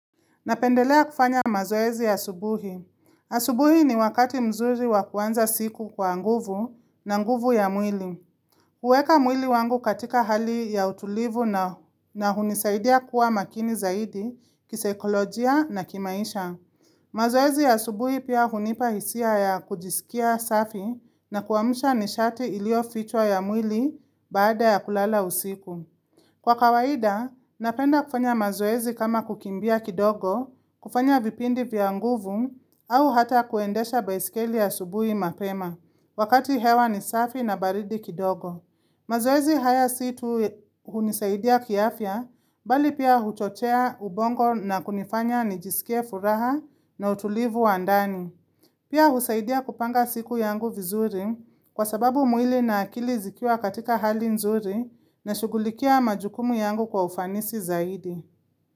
Napendelea kufanya mazoezi ya asubuhi. Asubuhi ni wakati mzuri wakuanza siku kwa nguvu na nguvu ya mwili. Kueka mwili wangu katika hali ya utulivu na hunisaidia kuwa makini zaidi, kiseikolojia na kimaisha. Mazoezi ya asubuhi pia hunipahisia ya kujisikia safi na kuamsha nishati ilio fichwa ya mwili baada ya kulala usiku. Kwa kawaida, napenda kufanya mazoezi kama kukimbia kidogo, kufanya vipindi vyanguvu au hata kuendesha baisikeli asubui mapema, wakati hewa ni safi na baridi kidogo. Mazoezi haya situ hunisaidia kiafya, bali pia huchochea ubongo na kunifanya nijisikie furaha na utulivu wandani. Pia usaidia kupanga siku yangu vizuri kwa sababu mwili na akili zikiwa katika hali nzuri na shugulikia majukumu yangu kwa ufanisi zaidi.